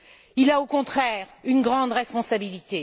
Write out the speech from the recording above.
Il a, au contraire, une grande responsabilité.